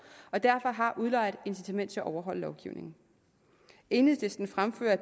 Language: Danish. og derfor har udlejer et incitament til at overholde lovgivningen enhedslisten fremfører at